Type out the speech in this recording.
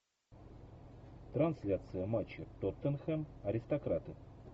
трансляция матча тоттенхэм аристократы